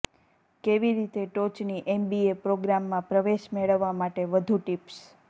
કેવી રીતે ટોચની એમબીએ પ્રોગ્રામમાં પ્રવેશ મેળવવા માટે વધુ ટિપ્સ